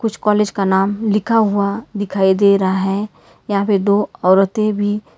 college का नाम लिखा हुआ दिखाई दे रहा है यहां पे दो औरतें भी--